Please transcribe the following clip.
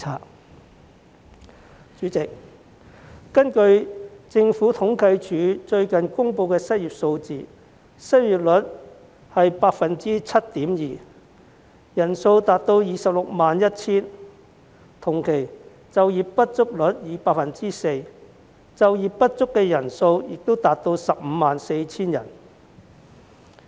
代理主席，根據政府統計處最近公布的失業數據，失業率是 7.2%， 失業人數達 261,000 人，同期就業不足率是 4%， 就業不足人數亦達 154,000 人。